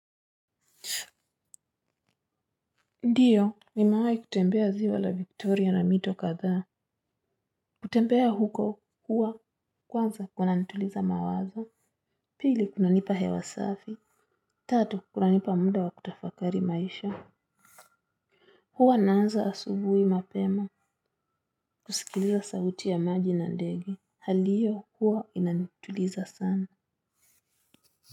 Ndiyo nimewai kutembea ziwa la viktoria na mito kadhaa. Kutembea huko, huwa kwanza kuna nituliza mawaza. Pili kuna nipa hewa safi. Tatu kuna nipa muda wa kutafakari maisha. Huwa naanza asubui mapema. Kusikiliza sauti ya maji na ndege. Hali iyo, huwa inanituliza sana.